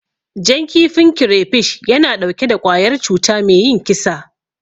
Jan kifin kirefish yana ɗauke da ƙwayar cuta me yin kisa.